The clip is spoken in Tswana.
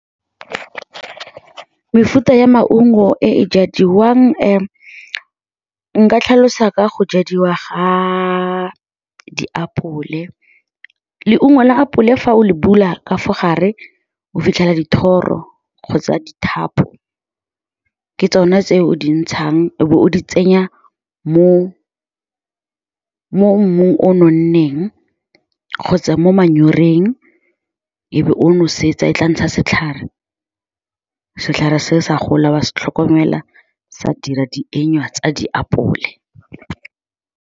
Mefuta ya maungo ee jadiwang nka tlhalosa ka go jadiwa ga diapole. Leungo la apole fa o le bula ka fa gare o fitlhela dithoro kgotsa dithapo ke tsone tse o di ntshang o be o di tsenya mo mmung o nonneng kgotsa mo manyoreng, e be o nosetsa. E tla ntsha setlhare, setlhare se sa gola, wa se tlhokomela, sa dira dienywa tsa diapole.